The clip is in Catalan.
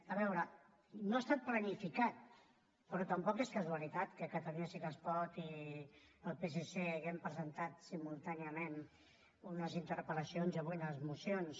a veure no ha estat planificat però tampoc és casualitat que catalunya sí que es pot i el psc haguem presentat simultàniament unes interpel·lacions i avui unes mocions